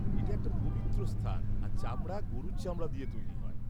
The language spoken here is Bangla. এটা একটা পবিত্র স্থান আর চামড়া গরুর চামড়া দিয়ে তৈরি হয়।